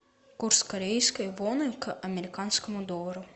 курс корейской воны к американскому доллару